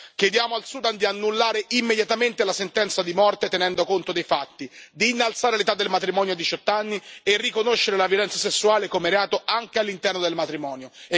Chiediamo al Sudan di annullare immediatamente la sentenza di morte, tenendo conto dei fatti, di innalzare l'età del matrimonio a 18 anni e riconoscere la violenza sessuale come reato anche all'interno del matrimonio.